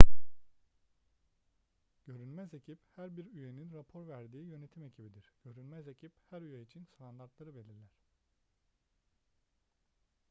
görünmez ekip her bir üyenin rapor verdiği yönetim ekibidir görünmez ekip her üye için standartları belirler